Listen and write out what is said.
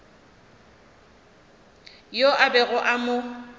yo a bego a mo